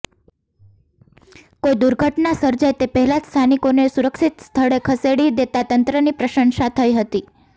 કોઈ દુર્ઘટના સર્જાય તે પહેલાં જ સ્થાનિકોને સુરક્ષિત સ્થળે ખસેડી દેતાં તંત્રની પ્રશંસા થઈ હતી